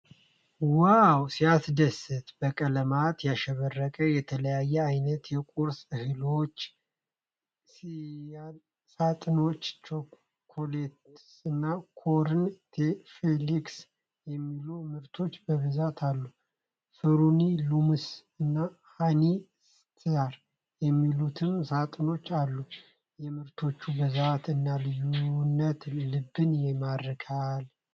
ዋው ሲያስደስት! በቀለማት ያሸበረቁ የተለያየ ዓይነት የቁርስ እህሎች (ሴሬያል) ሳጥኖች። "ቾኮ ፍሌክስ" እና "ኮርን ፍሌክስ" የሚሉ ምርቶች በብዛት አሉ። "ፍሩቲ ሉምስ" እና "ሃኒ ስታር" የሚሉትም ሳጥኖች አሉ! የምርቶቹ ብዛት እና ልዩነት ልብን ይማርካል።